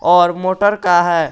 और मोटर का है।